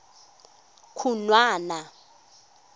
khunwana